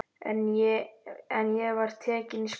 En ég var tekin í skólann.